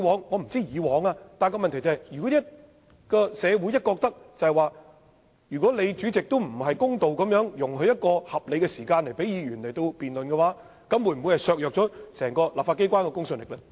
我不管以往的做法為何，但如果社會認為主席處事不公，沒有給予議員合理時間進行辯論，這樣會否削弱整個立法機關的公信力？